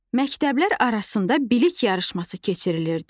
Məktəblər arasında bilik yarışması keçirilirdi.